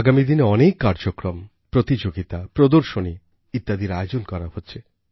আগামী দিনে অনেক কার্যক্রম প্রতিযোগিতা প্রদর্শনী ইত্যাদির আয়োজন করা হচ্ছে